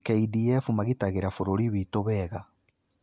KDF magitagĩra bũrũri witũ wega.